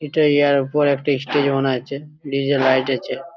এটা ইয়ার পর একটা স্টেজ মনে হচ্ছে ডি.জে. লাইট আছে।